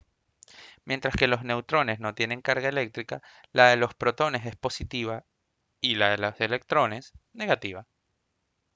mientras que los neutrones no tienen carga eléctrica la de los protones es positiva y la de los electrones negativa